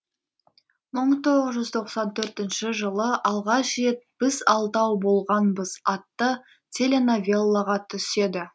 мың тоғыз жүз тоқсан төртінші жылы алғаш рет біз алтау болғанбыз атты теленовеллаға түседі